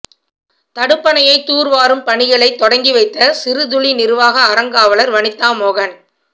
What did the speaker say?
தடுப்பணையை தூா் வாரும் பணிகளை தொடங்கிவைத்த சிறுதுளி நிா்வாக அறங்காவலா் வனிதா மோகன்